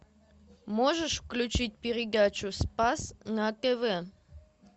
можешь включить передачу спас на тв